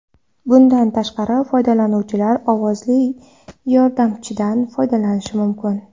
Bundan tashqari, foydalanuvchilar ovozli yordamchidan foydalanishi mumkin.